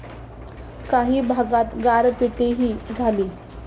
काही भागात गारपीटही झाली.